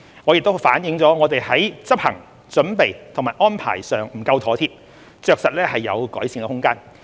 這亦反映我們在執行、準備和安排上不夠妥貼，着實有改善空間。